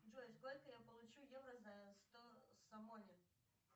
джой сколько я получу евро за сто свони